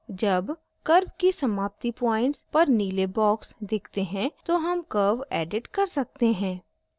जब curve की समाप्तिpoints पर नीले boxes दिखते हैं तो हम curve edit कर सकते हैं